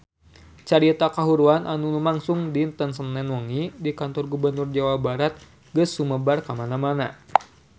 Carita kahuruan anu lumangsung dinten Senen wengi di Kantor Gubernur Jawa Barat geus sumebar kamana-mana